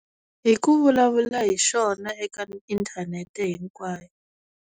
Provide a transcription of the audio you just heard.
Hi ku vulavula hi xona eka inthanete hinkwayo.